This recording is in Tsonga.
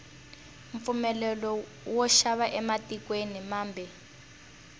mpfumelelo wo xava ematikweni mambe